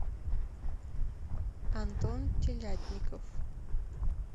антон телятников